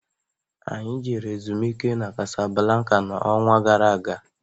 Anyị jere ezumike n'Kasablanka n'ọnwa gara aga